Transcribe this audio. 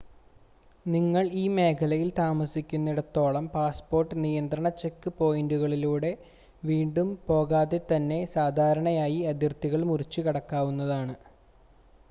നിങ്ങൾ ഈ മേഖലയിൽ താമസിക്കുന്നിടത്തോളം പാസ്സ്പോർട്ട് നിയന്ത്രണ ചെക്ക് പോയിൻ്റുകളിലൂടെ വീണ്ടും പോകാതെതന്നെ സാധാരണയായി അതിർത്തികൾ മുറിച്ച് കടക്കാവുന്നതാണ്